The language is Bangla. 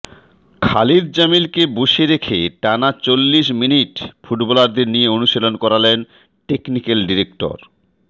খালিদ জামিলকে বসিয়ে রেখে টানা চল্লিশ মিনিট ফুটবলারদের নিয়ে অনুশীলন করালেন টেকনিক্যাল ডিরেক্টর